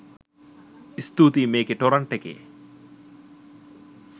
ස්තුතියි මේකේ ටොරන්ට් එකේ